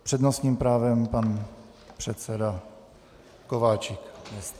S přednostním právem pan předseda Kováčik.